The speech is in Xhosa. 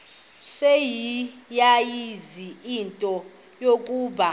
seleyazi into yokuba